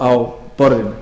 á borðinu